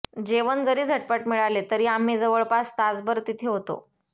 जेवण जरी झटपट मिळाले तरी आम्ही जवळपास तासभर तिथे होतो